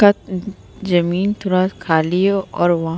तक ज़मीन थोड़ा खाली है और वहाँ --